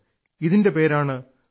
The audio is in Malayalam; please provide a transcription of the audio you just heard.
ഇതിന്റെ പേരാണ്ട കൂ